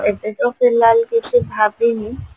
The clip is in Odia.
ଆଉ ଏବେ ତ फिलहाल କିଛି ଭାବିନି